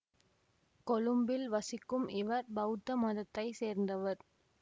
கொழும்பில் வசிக்கும் இவர் பௌத்த மதத்தை சேர்ந்தவர்